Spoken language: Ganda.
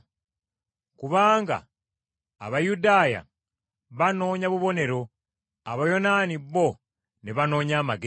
Kubanga Abayudaaya banoonya bubonero, Abayonaani bo ne banoonya amagezi,